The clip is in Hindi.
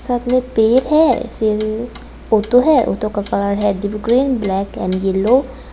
साथ में पेड़ है फिर ऑटो है ऑटो का कलर है deep green black and yellow.